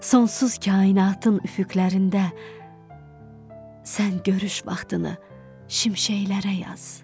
Sonsuz kainatın üfüqlərində sən görüş vaxtını şimşəklərə yaz.